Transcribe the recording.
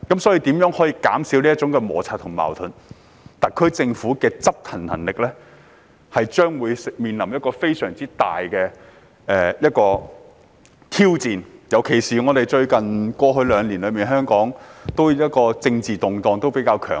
對於如何減少摩擦和矛盾，特區政府的執行能力將會面臨一大挑戰，特別是香港過去兩年的政治局勢較為動盪。